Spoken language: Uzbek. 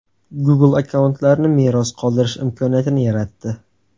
Google akkauntlarni meros qoldirish imkoniyatini yaratdi.